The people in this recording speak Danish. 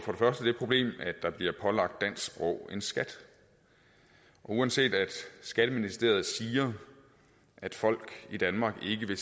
det problem at der bliver pålagt dansk sprog en skat og uanset at skatteministeriet siger at folk i danmark ikke i